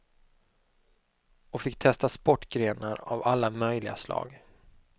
Och fick testa sportgrenar av alla möjliga slag.